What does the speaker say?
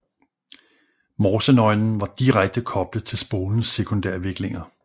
Morsenøglen var direkte koblet til spolens sekundærviklinger